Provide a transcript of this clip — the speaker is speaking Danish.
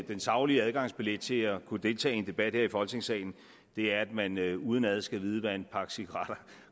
den saglige adgangsbillet til at kunne deltage i en debat her i folketingssalen er at man udenad skal vide hvad en pakke cigaretter